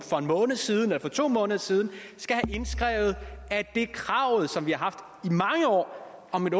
måned siden eller for to måneder siden skal have indskrevet at det krav som vi har haft i mange år om et